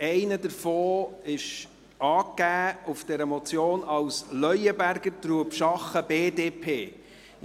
Einer davon ist auf dieser Motion als «Leuenberger, Trubschachen, BDP» angegeben.